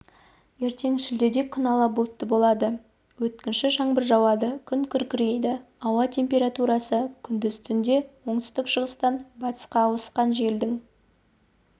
ертең шілдеде күн ала бұлтты болады өткінші жаңбыр жауады күн күркірейді ауа температурасы күндіз түнде оңтүстік-шығыстан батысқа ауысқан желдің